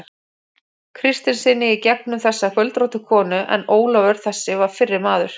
Kristinssyni í gegnum þessa göldróttu konu, en Ólafur þessi var fyrri maður